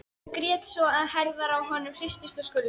Og grét svo að herðarnar á honum hristust og skulfu.